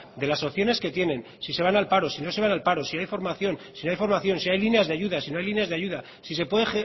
de las opciones que tienen si se van al paro si no se van al paro si hay formación si no hay formación si hay líneas de ayudas si no hay líneas de ayuda si se puede